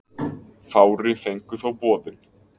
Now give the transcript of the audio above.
Fári fengu þó boðin.